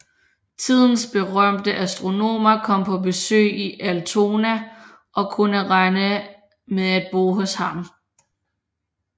Tidens berømte astronomer kom på besøg i Altona og kunne regne med at bo hos ham